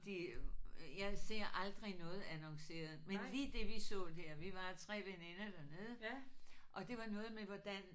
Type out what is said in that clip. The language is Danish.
De jeg ser aldrig noget annonceret men lige det vi så der vi var 3 veninder dernede og det var noget med hvordan